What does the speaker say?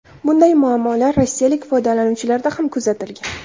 Bunday muammolar rossiyalik foydalanuvchilarda ham kuzatilgan.